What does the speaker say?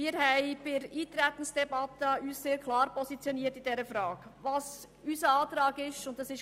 Bei der Eintretensdebatte haben wir uns in dieser Frage sehr klar positioniert.